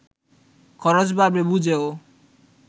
খরচ বাড়বে বুঝেও